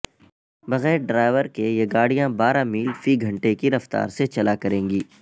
بغیر ڈرائیور کے یہ گاڑیاں بارہ میل فی گھنٹہ کی رفتار سے چلا کریں گی